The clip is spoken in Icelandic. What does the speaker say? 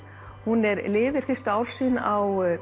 hún lifir fyrstu ár sín á